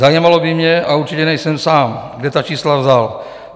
Zajímalo by mě, a určitě nejsem sám, kde ta čísla vzal.